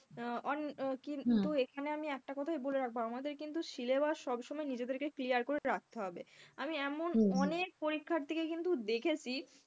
আহ কিন্তু এখানে আমি একটা কথাই বলে রাখবো আমাদের কিন্তু syllabus সবসময় নিজেদেরকে clear করে রাখতে হবে। আমি এমন অনেক পরীক্ষার্থীকে কিন্তু দেখেছি,